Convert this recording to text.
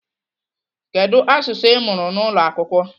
Kedu asụsụ Ị mụrụ n'ụlọ akwụkwọ?